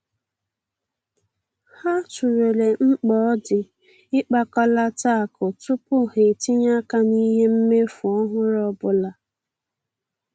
Ha tụlere mkpa ọ di ịkpakọlata akụ tupu ha etinye aka n'ihe mmefu ọhụrụ ọbụla.